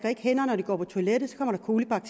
tak